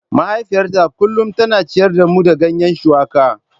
Mahaifiyata kullum tana ciyar da mu da ganye shuwaka.